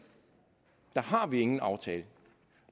der har vi ingen aftaler